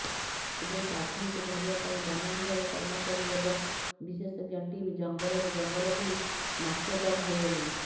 ଏବେ ବାଘୁଣୀକୁ ଧରିବା ପାଇଁ ବନବିଭାଗ କର୍ମଚାରୀ ଏବଂ ବିଶେଷଜ୍ଞ ଟିମ୍ ଜଙ୍ଗଲରୁ ଜଙ୍ଗଲ ବୁଲି ନାକେଦମ୍ ହୋଇଗଲେଣି